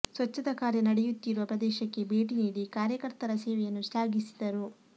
ಸ್ವಚ್ಚತಾ ಕಾರ್ಯ ನಡೆಯುತ್ತಿರುವ ಪ್ರದೇಶಕ್ಕೆ ಭೇಟಿ ನೀಡಿ ಕಾರ್ಯಕರ್ತರ ಸೇವೆಯನ್ನು ಶ್ಲಾಘಿಸಿದರು